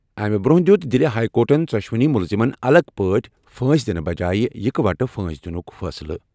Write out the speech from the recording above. امہِ برٛونٛہہ دِیُت دِلہِ ہایی کورٹَن ژۄشوٕنی مُلزِمن الگ پٲٹھۍ پھٲنٛسۍ دِنہٕ بجایہِ یِکہٕ وٹہٕ پھٲنٛسی دِنُک فٲصلہٕ۔